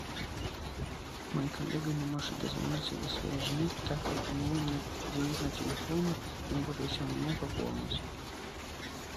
мой коллега не может дозвониться до своей жены так как у него нет денег на телефоне и он попросил меня пополнить